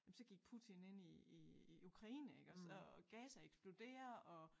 Jamen så gik Putin ind i i i Ukraine iggås og Gaza eksploderer og